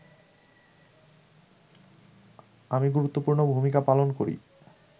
আমি গুরুত্বপূর্ণ ভূমিকা পালন করি